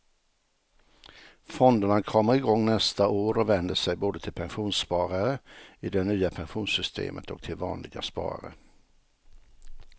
Fonderna kommer igång nästa år och vänder sig både till pensionssparare i det nya pensionssystemet och till vanliga sparare.